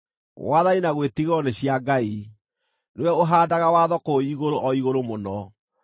“Wathani na gwĩtigĩrwo nĩ cia Ngai; nĩwe ũhaandaga watho kũu igũrũ o igũrũ mũno.